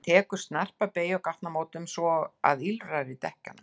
Hann tekur tekur snarpa beygju á gatnamótum svo að ýlfrar í dekkjunum.